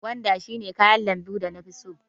Gwanda shi ne kayan lambu da na fi so.